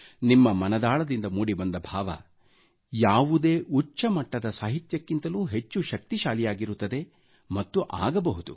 ನಿಮ್ಮ ಮನದಾಳದಿಂದ ಮೂಡಿಬಂದ ಭಾವ ಯಾವುದೇ ಉಚ್ಚಮಟ್ಟದ ಸಾಹಿತ್ಯಕ್ಕಿಂತಲೂ ಹೆಚ್ಚು ಶಕ್ತಿಶಾಲಿಯಾಗಿರುತ್ತದೆ ಮತ್ತು ಆಗಬಹುದು